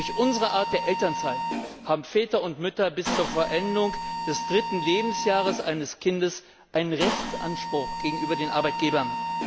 Durch unsere Art der Elternzeit haben Väter und Mütter bis zur Vollendung des dritten Lebensjahres eines Kindes einen Rechtsanspruch gegenüber den Arbeitgebern.